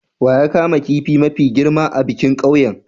Wa ya kama kifin mafi girma a bikin ƙauyen?